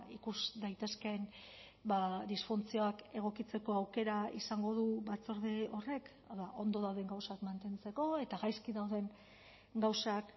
ikus daitezkeen disfuntzioak egokitzeko aukera izango du batzorde horrek hau da ondo dauden gauzak mantentzeko eta gaizki dauden gauzak